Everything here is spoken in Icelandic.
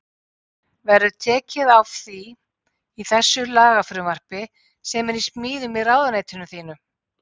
Verður tekið á því í þessu lagafrumvarpi sem er í smíðum í ráðuneytinu þínu?